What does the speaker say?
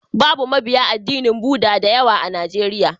Babu mabiya addinin Bhuda da yawa a Najeriya.